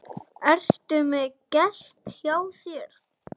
Ertu með gest hjá þér